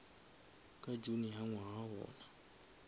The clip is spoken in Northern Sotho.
ka june ya ngwaga wona